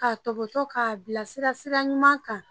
K'a tɔbɔtɔ k'a bila sira ɲuman kan